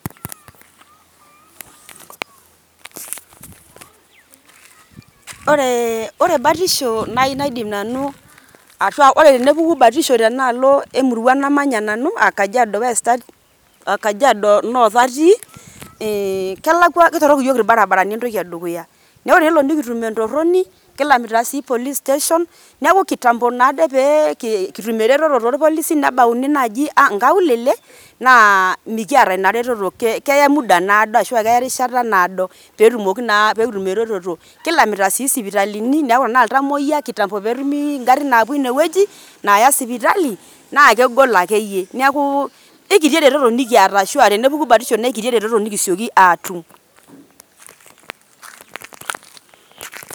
Ore batisho ore batisho nai naidim nanu ashu ore tenepuku batisho tenaalo emurua namanya nanu Kajiado west ati Kajiado North atii, eh kelakwa ketorrok iyiok irbarabarani entoki edukuya. Neeku ore pelo nikitum entorroni, kilamita si police station. Neeku kitambo naade pe kitum ereteto torpolisi, nebauni naji nkaulele, naa mekiata ina reteto, keya muda naado ashu akeya erishata naado petumoki naa pekitum ereteto. Kilamita si sipitalini, neeku enaa iltamoyia, kitambo netumi igarrin naapuo inewueji, naaya sipitali, na kegol akeyie. Neeku, kekiti ereteto nikiata ashua tenepuku batisho na kekiti ereteto nikisioki atum.